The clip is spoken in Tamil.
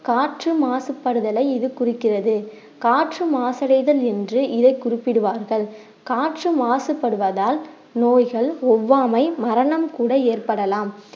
காற்று மாசுபடுதலை இது குறிக்கிறது காற்று மாசடைதல் என்று இதை குறிப்பிடுவார்கள் காற்று மாசுபடுவதால் நோய்கள், ஒவ்வாமை, மரணம் கூட ஏற்படலாம்